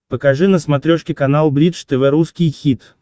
покажи на смотрешке канал бридж тв русский хит